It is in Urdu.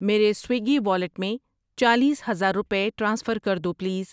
میرے سویگی والیٹ میں چالیس ہزار روپے ٹرانسفر کر دو پلیز۔